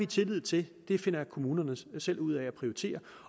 tillid til at det finder kommunerne selv ud af at prioritere